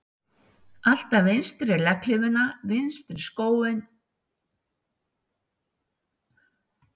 Alltaf vinstri legghlífina, vinstri sokkinn og skó á undan hægri.